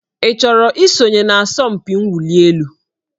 Ị chọrọ isonye n'asọmpi mwụli elu?